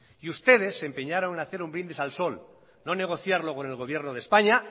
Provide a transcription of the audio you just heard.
y ustedes se empeñaron en hacer un brindis al sol no negociarlo con el gobierno de españa